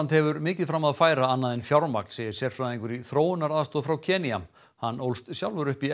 hefur mikið fram að færa annað en fjármagn segir sérfræðingur í þróunaraðstoð frá Kenía hann ólst sjálfur upp í